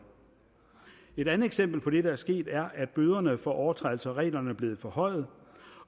et andet eksempel på det der er sket er at bøderne for overtrædelse af reglerne er blevet forhøjet